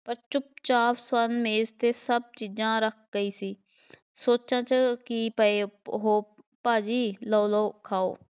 ਚੁੱਪ-ਚਾਪ ਸਵਰਨ ਮੇਜ਼ 'ਤੇ ਸਭ ਚੀਜ਼ਾਂ ਰੱਖ ਗਈ ਸੀ ਸੋਚਾਂ 'ਚ ਕੀ ਪਏ ਹੋ ਭਾਅ ਜੀ, ਲਓ ਲਓ ਖਾਓ